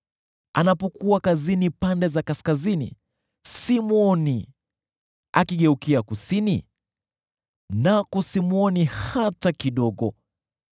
Anapokuwa kazini pande za kaskazini, simwoni; akigeukia kusini, nako simwoni hata kidogo.